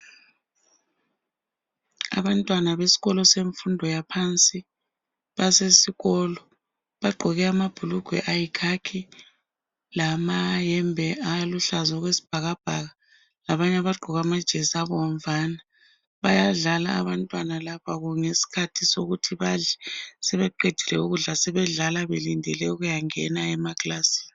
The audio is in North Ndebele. Abantwana besikolo semfundo yaphansi basesikolo bagqoke amabhulugwe ayikhakhi lamayembe aluhlaza okwesibhakabhaka labanye abagqoke amajesi abomvana. Bayadlala abantwana laba ngesikhathi sokuthi sebeqedile ukudla sebedlala belindele ukuyangena emakilasini.